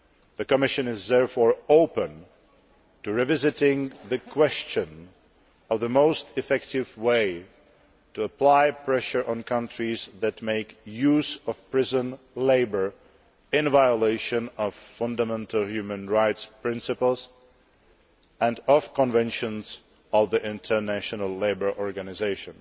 The Commission is therefore open to revisiting the question of the most effective way to apply pressure on countries that make use of prison labour, in violation of fundamental human rights principles and of the Conventions of the International Labour Organisation.